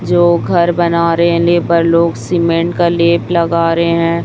जो घर बना रे है लेबर लोग सीमेंट का लेप लगा रहे है।